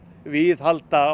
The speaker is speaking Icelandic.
viðhalda